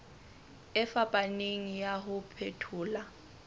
e fapaneng ya ho phethola